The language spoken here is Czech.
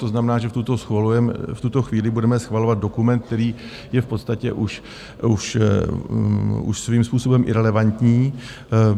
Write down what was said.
To znamená, že v tuto chvíli budeme schvalovat dokument, který je v podstatě už svým způsobem irelevantní.